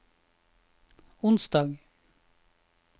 onsdag